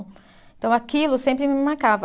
Então aquilo sempre me marcava.